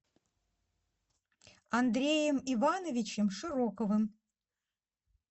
андреем ивановичем широковым